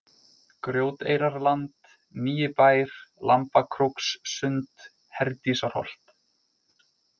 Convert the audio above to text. Grjóteyrarland, Nýi-Bær, Lambakrókssund, Herdísarholt